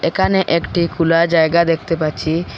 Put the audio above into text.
এখানে একটি খুলা জায়গা দেখতে পাচ্ছি।